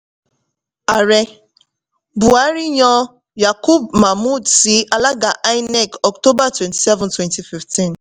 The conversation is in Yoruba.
ààrẹ buhari yan yakubu mahmood sí alága inec october twenty-seven twenty fifteen